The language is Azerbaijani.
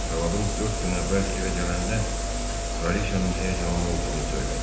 Arvadın dörd gün əvvəl evə gələndə kralıçanın həyəcanlı olduğunu söylədi.